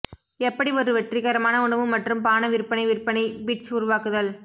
எப்படி ஒரு வெற்றிகரமான உணவு மற்றும் பான விற்பனை விற்பனை பிட்ச் உருவாக்குதல்